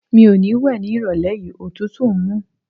Mi ò ní wẹ̀ ní ìrọ̀lẹ́ yìí, òtútù ń mú.